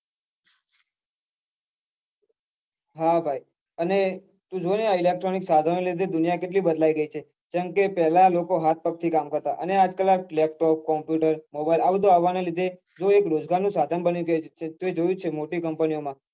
હા ભાઈ અને તું જોને આ electronic સાધનો ને લીધે દુનિયા કેટલી બદલાઈ ગઈ છે કેમ કે પેલા લોકો હાથ પગ થી કામ કરતા હતા અને આજ કાલ આ laptop computer mobile જે આ રોજગાર નું સાધન બની ગયું છે તે જોયું જ છે મોટી company ઓ માં